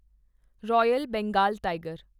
royal Bengal tiger